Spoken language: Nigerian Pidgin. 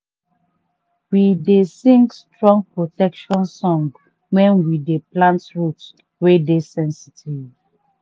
we dey sing strong protection song when we dey plant root wey dey sensitive.